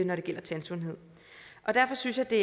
når det gælder tandsundhed derfor synes jeg det